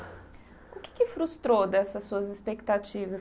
O que é que frustrou dessas suas expectativas?